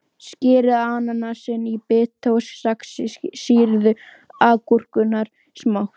Skerið ananasinn í bita og saxið sýrðu agúrkurnar smátt.